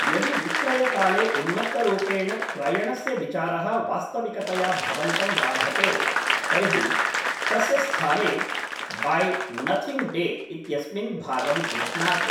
यदि विक्रयकाले उन्मत्तरूपेण क्रयणस्य विचारः वास्तविकतया भवन्तं बाधते तर्हि तस्य स्थाने 'बै नथिङ्ग् डे' इत्यस्मिन् भागं गृह्णातु।